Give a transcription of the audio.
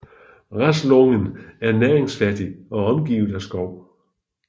Raslången er næringsfattig og omgivet af skov